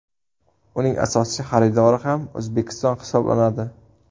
Uning asosiy xaridori ham O‘zbekiston hisoblanadi.